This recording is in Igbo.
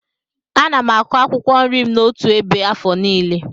Ana m akụ akwụkwọ nri m n'otu ebe afọ nílé.